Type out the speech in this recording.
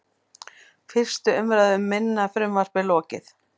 Fyrstu umræðu um minna frumvarpið lokið